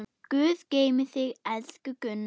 Guð geymi þig, elsku Gunna.